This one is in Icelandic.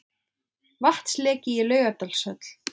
Vatnsleki í Laugardalshöll